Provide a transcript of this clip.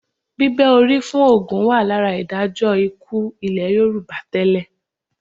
Bíbẹ́ orí fún ògún wà lára ìdájọ́ ikú ilẹ̀ Yorùbá tẹ́lẹ̀